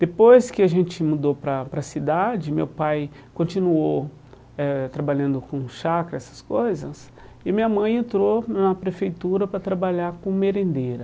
Depois que a gente mudou para a para a cidade, meu pai continuou eh trabalhando com chácara, essas coisas, e minha mãe entrou na prefeitura para trabalhar com merendeira.